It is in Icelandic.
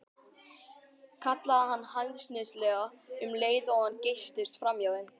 kallaði hann hæðnislega um leið og hann geystist framhjá þeim.